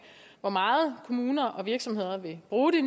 hvor meget kommunerne og virksomhederne vil bruge